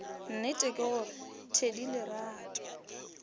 nnete ke gore thedi lerato